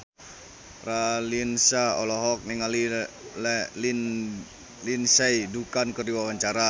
Raline Shah olohok ningali Lindsay Ducan keur diwawancara